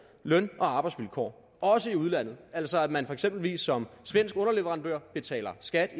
løn og arbejdsvilkår også i udlandet altså at man eksempelvis som svensk underleverandør betaler skat